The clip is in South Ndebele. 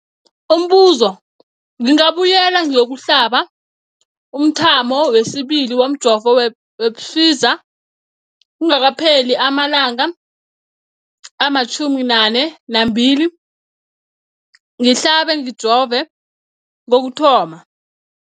Umbuzo, ngingabuyela ngiyokuhlaba umthamo wesibili womjovo we-Pfizer kungakapheli ama-42 wamalanga ngihlabe, ngijove kokuthoma.